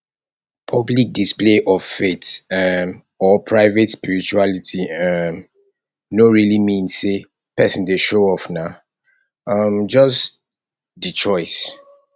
public display of faith um or private spirituality um no really mean sey person dey show off na um just di choice